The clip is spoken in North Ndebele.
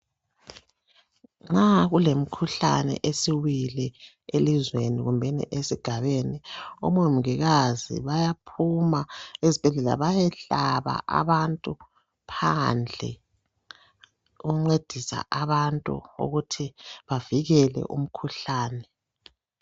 Nxa kulemkhuhlane esiwile elizweni kumbeni esigabeni omongikazi bayaphuma ezibhedlela bayehlaba abantu phandle ukuncedisa abantu ukuthi bavikele umkhuhlane.